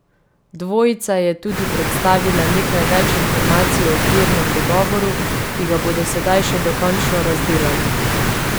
Dvojica je tudi predstavila nekaj več informacij o okvirnem dogovoru, ki ga bodo sedaj še dokončno razdelali.